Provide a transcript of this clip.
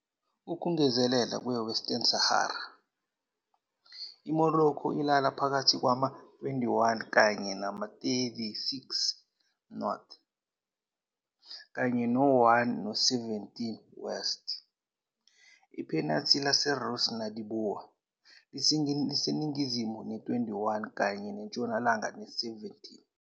Ukungezelela kwe-Western Sahara, iMorocco ilala phakathi kwama-21 kanye nama-36 North, kanye no-1 no-17 West iphenathi laseRas Nouadhibou liseningizimu ne-21 kanye ntshonalanga ne-17.